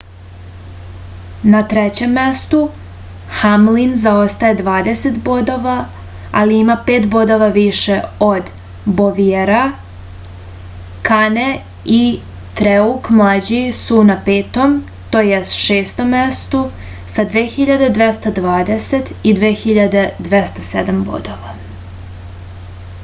na trećem mestu hamlin zaostaje dvadeset bodova ali ima pet bodova više od boviera kane i truek mlađi su na petom to jest šestom mestu sa 2.220 i 2.207 bodova